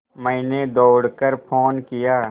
मैंने दौड़ कर फ़ोन किया